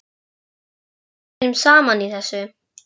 Ég hélt við værum saman í þessu.